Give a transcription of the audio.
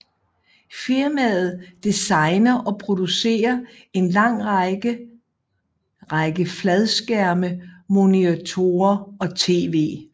Firmaet designer og producerer en lang række række fladskærmsmonitorer og TV